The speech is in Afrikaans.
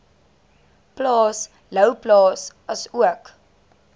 plaas louwplaas asook